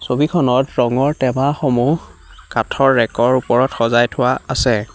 ছবিখনত ৰঙৰ টেমাসমূহ কাঠৰ ৰেকৰ ওপৰত সজাই থোৱা আছে।